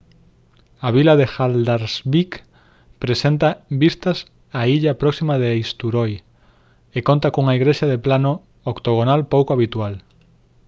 a vila de haldarsvík presenta vistas á illa próxima de eysturoy e conta cunha igrexa de plano octogonal pouco habitual